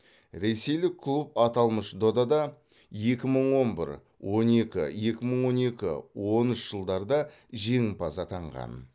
ресейлік клуб аталмыш додада екі мың он бір он екі екі мың он екі он үш жылдарда жеңімпаз атанған